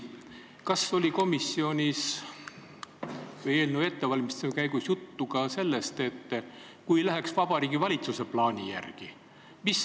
Kas komisjonis või eelnõu ettevalmistamise käigus oli juttu ka sellest, mis aastal need toetused tõuseksid, kui see läheks Vabariigi Valitsuse plaani järgi?